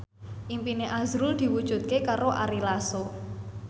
impine azrul diwujudke karo Ari Lasso